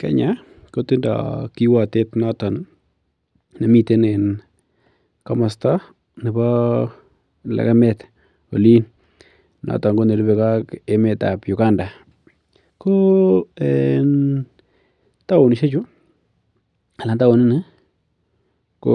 Kenya kotinye kiwatet notoon nemiten en kamosta nebo legemet Olin. Noton ko nerubekee ak town ko en taonisiek chu ko